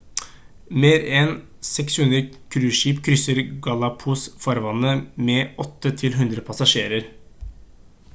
mer enn 60 cruiseskip krysser galapagos-farvannet med 8-100 passasjerer